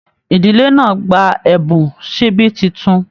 Ìdílé náà gbà ẹbùn síbí títún.